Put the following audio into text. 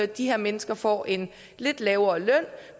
de her mennesker får en lidt lavere løn